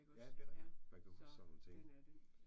Ja det rigtigt nok. Man kan huske sådan nogle ting